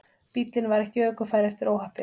Bíllinn var ekki ökufær eftir óhappið